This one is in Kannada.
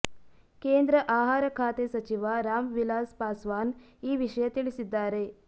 ಕೇಂದ್ರ ಆಹಾರ ಖಾತೆ ಸಚಿವ ರಾಮ್ ವಿಲಾಸ್ ಪಾಸ್ವಾನ್ ಈ ವಿಷಯ ತಿಳಿಸಿದ್ದಾರೆ